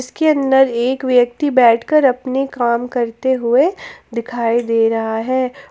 इसके अंदर एक व्यक्ति बैठकर अपने काम करते हुए दिखाई दे रहा है।